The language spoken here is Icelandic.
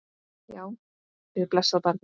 Já, við blessað barnið!